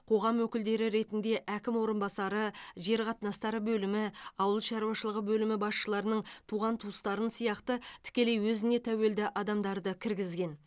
қоғам өкілдері ретінде әкім орынбасары жер қатынастары бөлімі ауыл шаруашылығы бөлімі басшыларының туған туыстарын сияқты тікелей өзіне тәуелді адамдарды кіргізген